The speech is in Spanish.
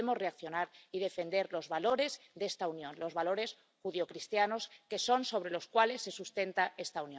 Debemos reaccionar y defender los valores de esta Unión, los valores judeocristianos, que son sobre los que se sustenta esta